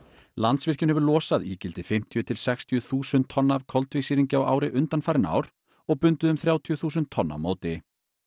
Landsvirkjun hefur losað ígildi fimmtíu til sextíu þúsund tonna af koltvísýringi á ári undanfarin ár og bundið um þrjátíu þúsund tonn á móti